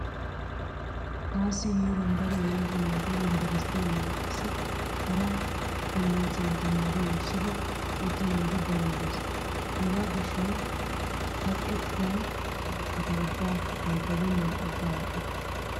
Taassi heeran daro yelaga naati yumbberesttiyaninne qassi hara kolloojjiyan tamaari wurssidi utta naati daroy dees. Hegaa gishshawu kaqettaiya woraqata ubbaa nabbabennan agga aadhdhikke.